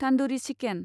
तान्दुरि chicken